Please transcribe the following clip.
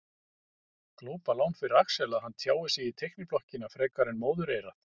Glópalán fyrir Axel að hann tjáir sig í teikniblokkina fremur en móðureyrað.